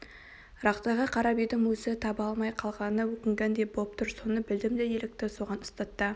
рақтайға қарап едім өзі таба алмай калғанына өкінгендей боп тұр соны білдім де елікті соған ұстата